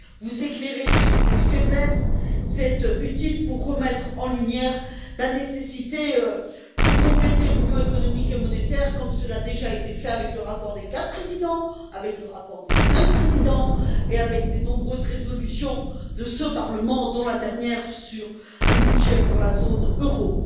Vous nous éclairez sur ses faiblesses c'est utile pour remettre en lumière la nécessité de compléter l'Union économique et monétaire, comme cela a déjà été fait dans le rapport des quatre présidents, dans le rapport des cinq présidents et dans de nombreuses résolutions de ce Parlement, dont la dernière sur un budget pour la zone euro.